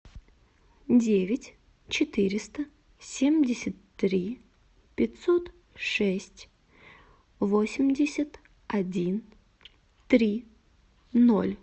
девять четыреста семьдесят три пятьсот шесть восемьдесят один три ноль